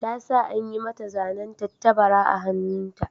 Ta sa an yi mata zanen tattabara a hannunta.